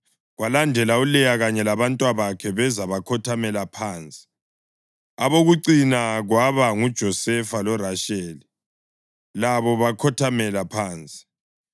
Kwalandela uLeya kanye labantwabakhe beza bakhothamela phansi. Abokucina kwaba nguJosefa loRasheli, labo bakhothamela phansi.